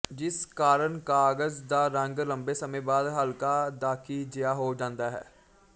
ਜਿਸ ਕਾਰਨ ਕਾਗਜ਼ ਦਾ ਰੰਗ ਲੰਬੇ ਸਮੇਂ ਬਾਅਦ ਹਲਕਾ ਦਾਖੀ ਜਿਹਾ ਹੋ ਜਾਂਦਾ ਹੈ